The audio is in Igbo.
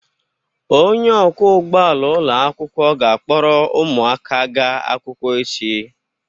Onye ọkwọ ụgbọ ala ụlọ akwụkwọ ga-akpọrọ ụmụaka gaa akwụkwọ echi.